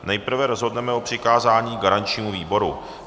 Nejprve rozhodneme o přikázání garančnímu výboru.